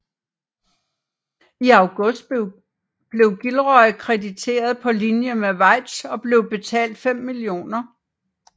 I august blev Gilroy krediteret på linje med Weitz og blev betalt 5 mio